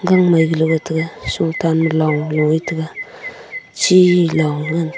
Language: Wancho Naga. gang Mai galo ga taiga shung tan ma long lo e taga chi long ngan te--